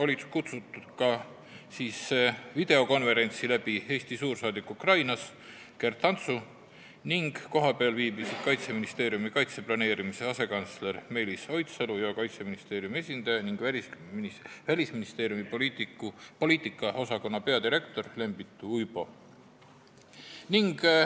Nimetatud istungile oli videokonverentsi abil kutsutud Eesti suursaadik Ukrainas Gert Antsu ning kohapeal viibisid Kaitseministeeriumi kaitseplaneerimise asekantsler Meelis Oidsalu ja Kaitseministeeriumi esindaja ning Välisministeeriumi poliitikaosakonna peadirektor Lembit Uibo.